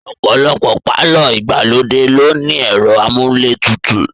Ọ̀pọ̀lọpọ̀ pàlọ́ ìgbàlódé ló ní ẹ̀rọ amúlé tutù